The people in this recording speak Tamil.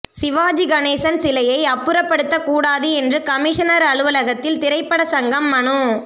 சிவாஜி கணேசன் சிலையை அப்புறபடுத்த கூடாது என்று கமிஷனர் அலுவலகத்தில் திரைபட சங்கம் மனு